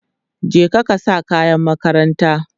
je ka sa kayan makaranta!